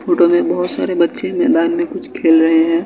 Photo में बहोत सारे बच्चे मैदान में कुछ खेल रहे हैं।